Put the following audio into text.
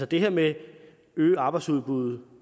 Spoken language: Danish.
det her med at øge arbejdsudbudet